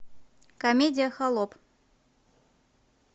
комедия холоп